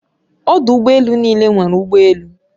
Odu ụgbọ elu n'ile nwere ụgbọ elu